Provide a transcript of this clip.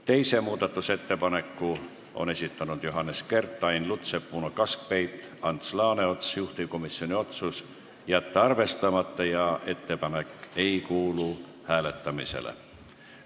Teise muudatusettepaneku on esitanud Johannes Kert, Ain Lutsepp, Uno Kaskpeit ja Ants Laaneots, juhtivkomisjoni otsus on jätta arvestamata ja ettepanek ei kuulu hääletamisele.